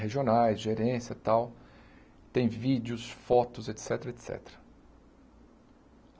regionais, gerência e tal, tem vídeos, fotos, et cétera, et cétera.